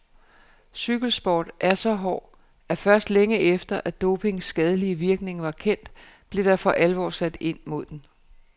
Cykelsport er så hård, at først længe efter, at dopings skadelige virkning var kendt, blev der for alvor blev sat ind mod den.